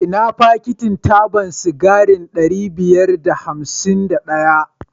Ina fakit taban sigari ɗari biyar da hamsin da ɗaya?